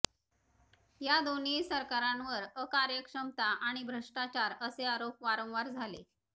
या दोन्हीही सरकारांवर अकार्यक्षमता आणि भ्रष्टाचार असे आरोप वारंवार झाले